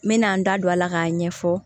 N mɛna n da don a la k'a ɲɛfɔ